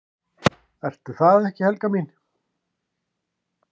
"""Ertu það ekki, Helga mín?"""